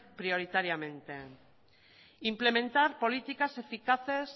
prioritariamente implementar políticas eficaces